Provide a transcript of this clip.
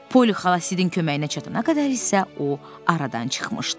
Poli xala Sidin köməyinə çatana qədər isə o aradan çıxmışdı.